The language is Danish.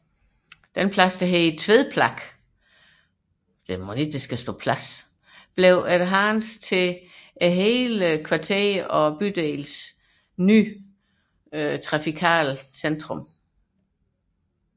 Pladsen Tved Plak blev efterhånden til kvarterets og bydelens nye trafikale centrum